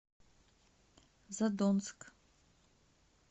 задонск